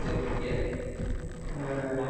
ഉം. അതെ അതെ അതെ.